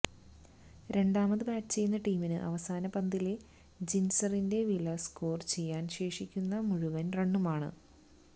രണ്ടാമത് ബാറ്റ് ചെയ്യുന്ന ടീമിന് അവസാന പന്തിലെ ജിന്സറിന്റെ വില സ്കോര് ചെയ്യാന് ശേഷിക്കുന്ന മുഴുവന് റണ്ണുമാണ്